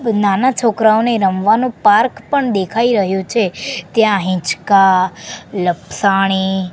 નાના છોકરાઓને રમવાનું પાર્ક પણ દેખાય રહ્યો છે ત્યાં હિંચકા લપસણી--